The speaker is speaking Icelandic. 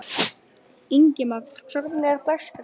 Ingimagn, hvernig er dagskráin?